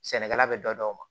Sɛnɛkɛla bɛ dɔ d'o ma